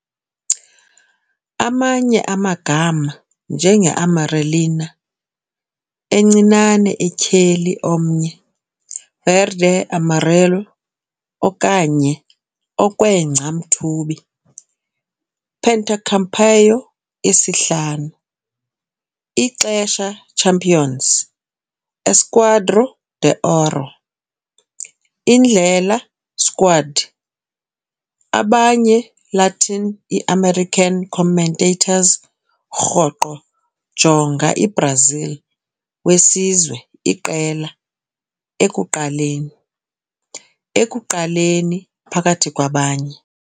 Amanye amagama njenge "Amarelinha", "Encinane Etyheli Omnye", "Verde-amarelo", okanye "Okwengca-Mthubi", "Pentacampeão", "Isihlanu --- -ixesha Champions", "Esquadrão de Ouro", Indlela- Squad, abanye Latin i-american commentators rhoqo jonga i-Brazil Wesizwe iqela "El Ekuqaleni", Ekuqaleni, phakathi kwabanye.